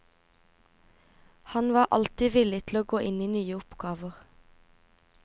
Han var alltid villig til å gå inn i nye oppgaver.